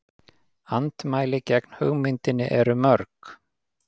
Andmæli gegn hugmyndinni eru mörg.